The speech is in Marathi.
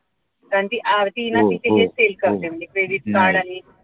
कारण ती आरतीही तिथे ना हेच sale करते म्हणजे credit card आणि